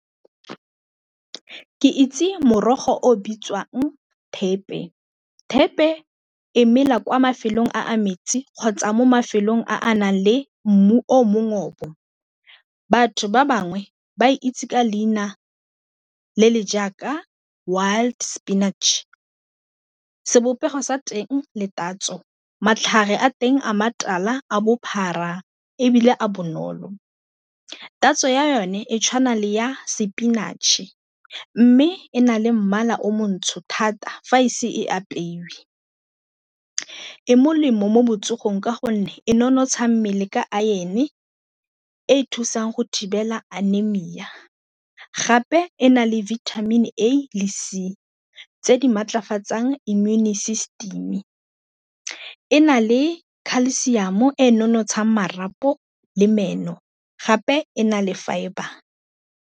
Ke itse morogo o bitswang thepe. Thepe e mela kwa mafelong a metsi kgotsa mo mafelong a a nang le mmu o . Batho ba bangwe ba e itse ka leina le le jaaka wild spinach, sebopego sa teng le tatso matlhare a teng a matala a bophara ebile a bonolo, tatso ya yone e tshwanang le ya sepinatšhe mme e na le mmala o montsho thata fa ise e apeiwe e molemo mo botsogong ka gonne e nonotsha mmele ka iron e e thusang go thibela anemia gape e na le vitamin A le C tse di maatlafatsang immune system e na le khalesiamo e nonotshang marapo le meno gape e na le fibre.